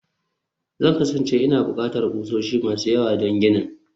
Zan kasance ina buƙatar ƙusoshi masu yawa don ginin